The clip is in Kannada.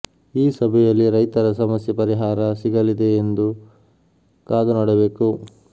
ಈ ಸಭೆಯಲ್ಲಿ ರೈತರ ಸಮಸ್ಯೆ ಪರಿಹಾರ ಸಿಗಲಿದೇ ಎಂದು ಕಾದು ನೋಡಬೇಕು